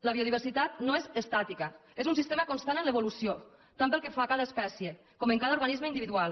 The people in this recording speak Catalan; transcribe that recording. la biodiversitat no és estàtica és un sistema constant en evolució tant pel que fa a cada espècie com a cada organisme individual